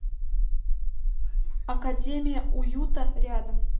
академия уюта рядом